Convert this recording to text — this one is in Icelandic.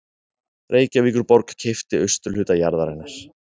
Reykjavíkurborg keypti austurhluta jarðarinnar